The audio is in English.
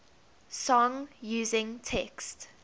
song using text